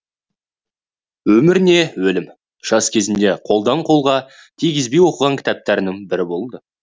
өмір не өлім жас кезімде қолдан қолға тигізбей оқыған кітаптарымның бірі болды